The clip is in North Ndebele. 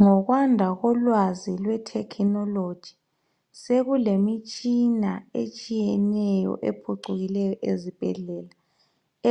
Ngokwanda kolwazi lwe thekhinoloji sekulemitshina etshiyeneyo ephucukileyo ezibhedlela